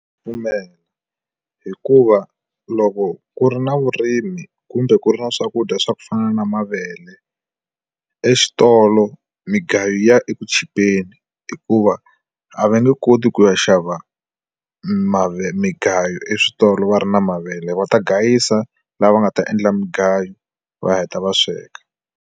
Pfumela hikuva loko ku ri na vurimi kumbe ku ri na swakudya swa ku fana na mavele exitolo migayo ya eku chipeni hikuva a va nge koti ku ya xava mavele mugayo eswitolo va ri na mavele va ta gayisa lava nga ta endla mugayo va heta va sweka.